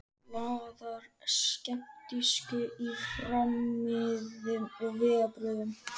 Blaðar skeptískur í farmiðum og vegabréfum.